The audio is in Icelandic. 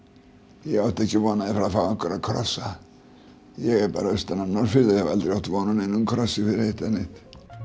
ég átti ekki von að fá einhverja krossa ég er bara austan af Norðfirði og hef aldrei átt vona á neinum krossi fyrir eitt eða neitt